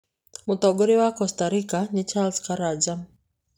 Mũtongoria wa Costa Rica nĩ Charles Karanja.